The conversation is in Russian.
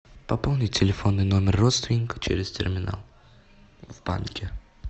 пополнить телефонный номер родственника через терминал в банке